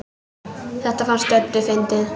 Þetta fannst Döddu fyndið.